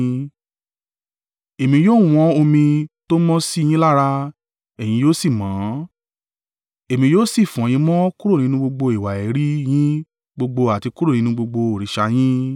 Èmi yóò wọ́n omi tó mọ́ sí yín lára ẹ̀yin yóò sì mọ́; Èmi yóò sì fọ̀ yín mọ́ kúrò nínú gbogbo ìwà èérí yin gbogbo àti kúrò nínú gbogbo òrìṣà yin.